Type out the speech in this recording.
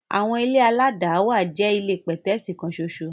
Àwọn ilé aládàáwà jẹ́ ilé pẹ̀tẹ́ẹ̀sì kan ṣoṣo.